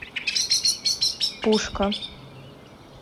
пушка